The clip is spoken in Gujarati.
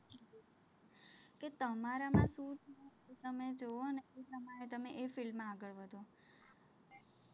તો તમારામાંથી તમે જોવોને તો તમે એ field માં આગળ વધો,